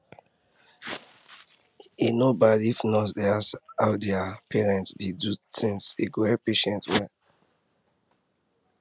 e no bad is nurse dey ask how their parents de do things e go help patient well